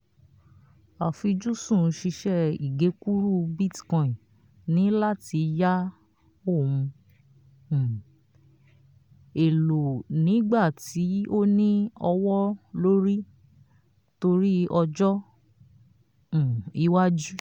àfujúsùn ṣíṣe ìgekúrú bitcoin ní láti yá òhun um èlò nígbà tí ó ní owó lórí torí ọjọ́ um iwájú